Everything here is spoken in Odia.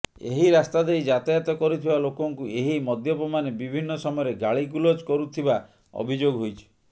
ଏହି ରାସ୍ତା ଦେଇ ଯାତାୟତ କରୁଥିବା ଲୋକଙ୍କୁ ଏହି ମଦପ୍ୟମାନେ ବିଭିନ୍ନ ସମୟରେ ଗାଳିଗୁଲଜ କରୁଥିବା ଅଭିଯୋଗ ହୋଇଛି